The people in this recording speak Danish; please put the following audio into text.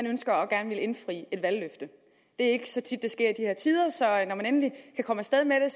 ønske om at ville indfri et valgløfte det er ikke så tit det sker i de her tider så når man endelig kan komme af sted med det